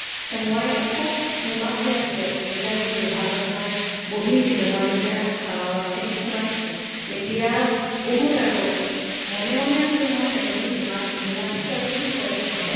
মই খুব নিমাত হৈ আছিলোঁ। যেতিয়া মোৰ বিভাগত মই বিহিছিলো, মই যেতিয়া আহ শ্ৰেনীত সোমাইছিলো তেতিয়া বহুত আৰু। মনে মনে আছিলো মই এজনী নিমাত নিমাতী ছোৱালী বুলি কয় সিহঁতে।